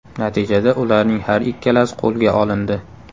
Natijada ularning har ikkalasi qo‘lga olindi.